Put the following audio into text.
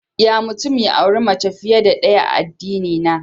Ya mutum ya auri mace fiye da ɗaya a addinina.